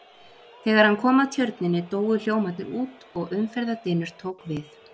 Þegar hann kom að tjörninni, dóu hljómarnir út og umferðardynur tók við.